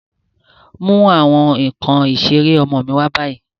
Mu awọn nkan isere ọmọ mi wa ni bayi!